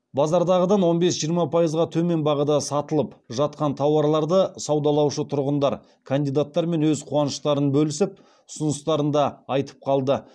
базардағыдан он бес жиырма пайызға төмен бағада сатылып жатқан тауарларды саудалаушы тұрғындар кандидаттармен өз қуаныштарын бөлісіп ұсыныстарын да айтып қалды